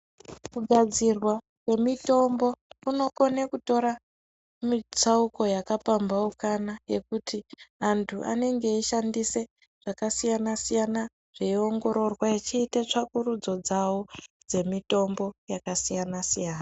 Kugadzirwa kwemitombo kunokone kutora mitsauko yakapambaukana yekuti antu anenge eyishandise zvakasiyana siyana, zveyiwongororwa echita tsvakurudzo dzawo dzemitombo yakasiyana siyana.